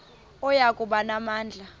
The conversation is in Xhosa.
oya kuba namandla